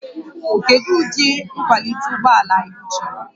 Kedu ụdị nkwalite ụgbọ ala ị chọrọ?